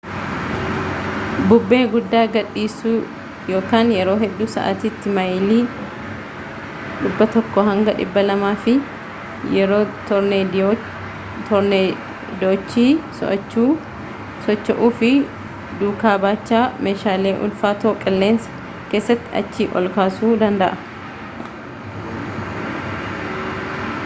bubbee guddaa gad dhiisu yeroo hedduu sa’atiitti maayelii 100-200 fi yeroo toorneedochi socho’uu of duukaa baachaa meeshaalee ulfaatoo qilleensa keessatti achii ol kaasuu danda’a